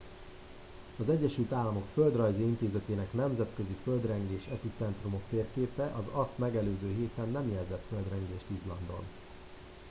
az egyesült államok földrajzi intézetének nemzetközi földrengés epicentrumok térképe az azt megelőző héten nem jelzett földrengést izlandon